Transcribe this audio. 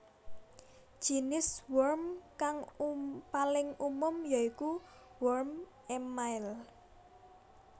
Jinis worm kang paling umum ya iku worm émail